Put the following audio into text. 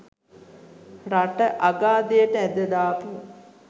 රට අගාධයට ඇද දාපු